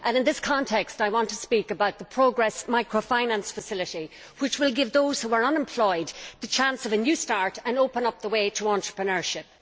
In this context, I want to speak about the Progress Microfinance Facility, which will give those who are unemployed a chance of a new start and open up the way to entrepreneurship.